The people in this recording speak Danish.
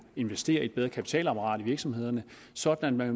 investeres i et bedre kapitalapparat i virksomhederne sådan at